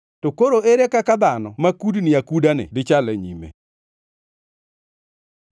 to koro ere kaka dhano ma kudni akudani dichal e nyime?”